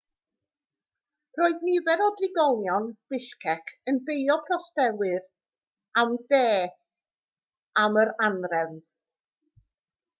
roedd nifer o drigolion bishkek yn beio protestwyr o'r de am yr anhrefn